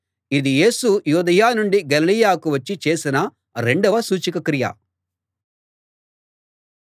ఇది యేసు యూదయ నుండి గలిలయకు వచ్చి చేసిన రెండవ సూచకక్రియ